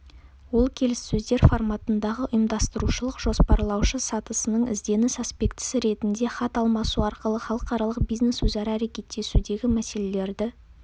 ол келіссөздер форматындағы ұйымдастырушылық-жоспарлаушы сатысының ізденіс аспектісі ретінде хат алмасу арқылы халықаралық бизнес өзара әрекеттесудегі мәселелерді